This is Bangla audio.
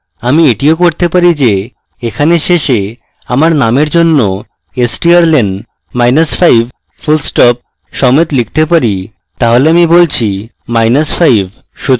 আমি এটিও করতে পারি যে এখানে শেষে আমার নামের জন্য strlen মাইনাস 5 fullstop সমেত লিখতে পারি তাহলে আমি বলছি মাইনাস 5